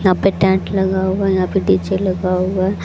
यहां पे टेंट लगा हुआ है यहां पे डी_जे लगा हुआ--